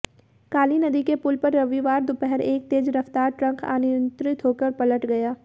काली नदी के पुल पर रविवार दोपहर एक तेज रफ्तार ट्रक अनियंत्रित होकर पलट गया